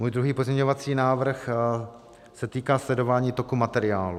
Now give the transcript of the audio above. Můj druhý pozměňovací návrh se týká sledování toku materiálů.